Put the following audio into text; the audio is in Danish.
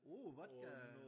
Uh vodka!